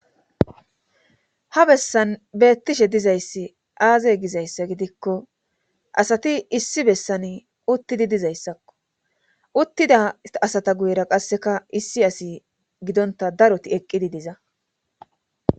Ha bessan beettishe dizayssi aazey gizayssa gidikko asati issi bessan uttidi dizayssakko uttida asata guyra qasseka issi asi gidonta daroti eqqidi diza